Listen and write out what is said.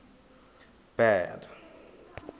bad